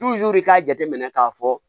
k'a jate minɛ k'a fɔ